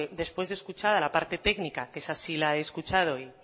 después de escuchar la parte técnica que esa sí la he escuchado y